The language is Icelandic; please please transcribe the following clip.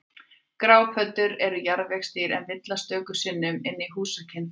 Grápöddur eru jarðvegsdýr en villast stöku sinnum inn í húsakynni fólks.